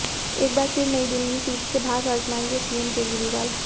एकबार फिर नई दिल्ली सीट से भाग्य आजमाएंगे सीएम केजरीवाल